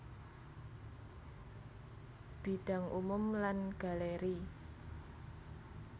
Bidang umum lan galeri